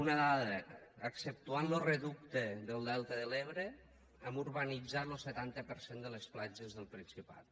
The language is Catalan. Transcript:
una dada exceptuant lo reducte del delta de l’ebre hem urbanitzat lo setanta per cent de les platges del principat